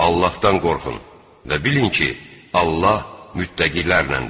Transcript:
Allahdan qorxun və bilin ki, Allah mütəqqilərlədir.